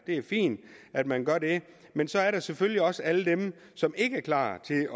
er fint at man gør det men så er der selvfølgelig også alle dem som ikke er klar til